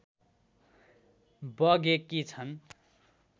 बगेकी छन्